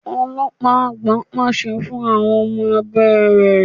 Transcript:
Ọlọ́pàá àgbà pàṣẹ fún àwọn ọmọ abé rẹ.